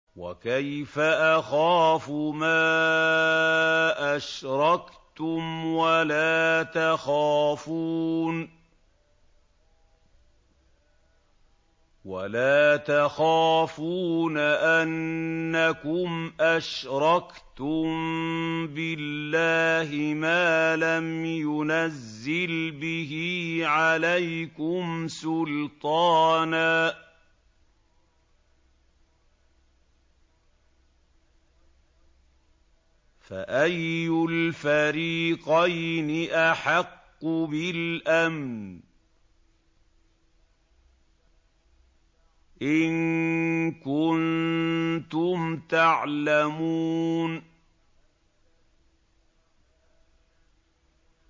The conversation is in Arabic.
وَكَيْفَ أَخَافُ مَا أَشْرَكْتُمْ وَلَا تَخَافُونَ أَنَّكُمْ أَشْرَكْتُم بِاللَّهِ مَا لَمْ يُنَزِّلْ بِهِ عَلَيْكُمْ سُلْطَانًا ۚ فَأَيُّ الْفَرِيقَيْنِ أَحَقُّ بِالْأَمْنِ ۖ إِن كُنتُمْ تَعْلَمُونَ